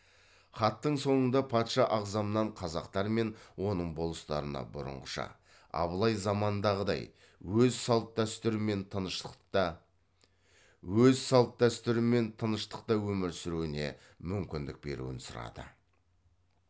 хаттың соңында патша ағзамнан қазақтар мен оның болыстарына бұрынғыша абылай заманындағыдай өз салт дәстүрімен тыныштықта өмір сүруіне мүмкіндік беруін сұрады